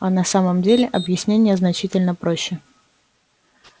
а на самом деле объяснение значительно проще